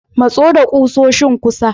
Maso da kusoshin kusa.